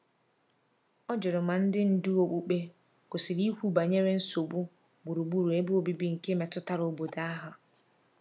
O jụrụ ma ndị ndu okpukpe kwesiri ikwu banyere nsogbu gburugburu ebe obibi nke metụtara obodo ahụ.